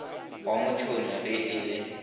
wa motšhoni ge e le